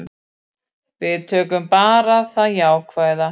Við tökum bara það jákvæða.